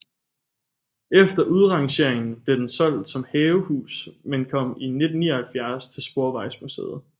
Efter udrangeringen blev den solgt som havehus men kom i 1979 til Sporvejsmuseet